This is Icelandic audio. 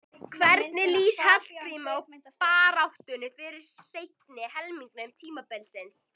Hvernig lýst Hallgrími á baráttuna fyrir seinni helming tímabilsins?